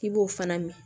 I b'o fana mɛn